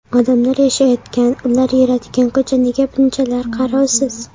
Odamlar yashayotgan, ular yuradigan ko‘cha nega bunchalar qarovsiz?